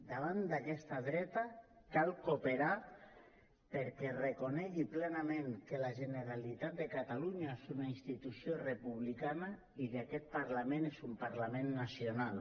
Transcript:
davant d’aquesta dreta cal cooperar perquè es reconegui plenament que la generalitat de catalunya és una institució republicana i que aquest parlament és un parlament nacional